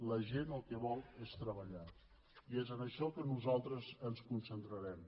la gent el que vol és treballar i és en això que nosaltres ens concentrarem